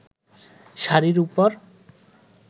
শাড়ির ওপর